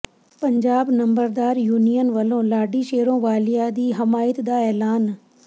ਪੰਜਾਬ ਨੰਬਰਦਾਰ ਯੂਨੀਅਨ ਵਲੋਂ ਲਾਡੀ ਸ਼ੇਰੋਵਾਲੀਆ ਦੀ ਹਮਾਇਤ ਦਾ ਐਲਾਨ